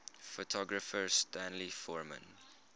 photographer stanley forman